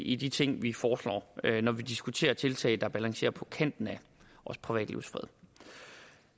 i de ting vi foreslår når vi diskuterer tiltag der balancerer på kanten af privatlivets fred